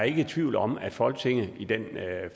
ikke er tvivl om at folketinget i det